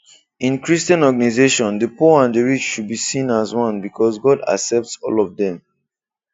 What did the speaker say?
In christian organization, the poor and the rich should be seen as one because God accepts all of them